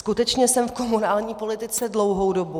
Skutečně jsem v komunální politice dlouhou dobu.